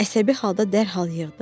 Əsəbi halda dərhal yığdı.